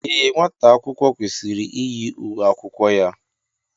Ee, nwata akwụkwọ kwesịrị iyi uwe akwụkwọ ya.